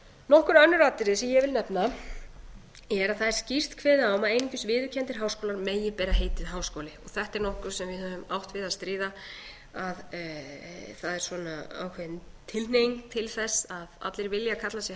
nokkur önnur atriði sem ég vil nefna er að það er skýrt kveðið á um að einungis viðurkenndir háskólar megi bera heitið háskóli þetta er nokkuð sem við höfum átt við að stríða að það er ákveðin tilhneiging til þess að allir vilja kalla sig